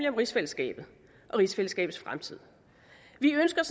om rigsfællesskabet og rigsfællesskabets fremtid vi ønsker